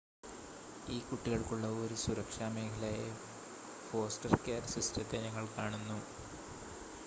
ഈ കുട്ടികൾക്കുള്ള ഒരു സുരക്ഷാ മേഖലയായി ഫോസ്റ്റർ കെയർ സിസ്റ്റത്തെ ഞങ്ങൾ കാണുന്നു